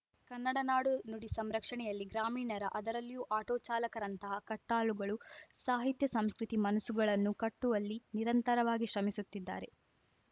ಕನ್ನಡ ನಾಡು ನುಡಿ ಸಂರಕ್ಷಣೆಯಲ್ಲಿ ಗ್ರಾಮೀಣರ ಅದರಲ್ಲಿಯೂ ಆಟೋ ಚಾಲಕರಂತಹ ಕಟ್ಟಾಳುಗಳು ಸಾಹಿತ್ಯ ಸಾಂಸ್ಕೃತಿಕ ಮನಸ್ಸುಗಳನ್ನು ಕಟ್ಟುವಲ್ಲಿ ನಿರಂತರವಾಗಿ ಶ್ರಮಿಸುತ್ತಿದ್ದಾರೆ